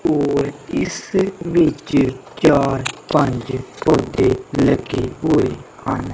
ਔਰ ਇਸ ਵਿੱਚ ਚਾਰ ਪੰਜ ਪੌਧੇ ਲੱਗੇ ਹੋਏ ਹਨ।